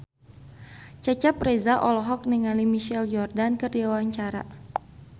Cecep Reza olohok ningali Michael Jordan keur diwawancara